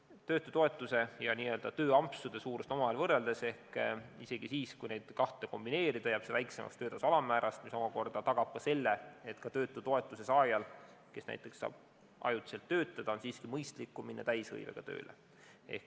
Kui töötutoetuse ja n-ö tööampsude suurust omavahel võrrelda, siis isegi juhul, kui neid kahte kombineerida, jääb see väiksemaks töötasu alammäärast, mis omakorda tagab, et ka töötutoetuse saajal, kes saab ajutiselt töötada, on siiski mõistlikum minna täishõivega tööle.